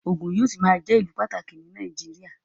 Ògùn yóò ṣì máa jẹ́ ìlù pàtàkì ní Nàìjíríà